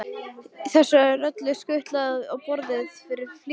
Þessu er öllu skutlað á borðið í flýti.